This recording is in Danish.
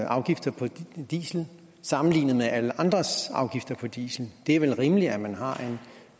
afgifter på diesel sammenlignet med alle andres afgifter på diesel det er vel rimeligt at man har